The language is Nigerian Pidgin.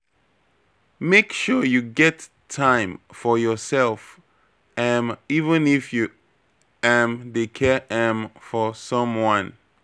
Make sure you get time for yoursef, um even if you um dey care um for someone.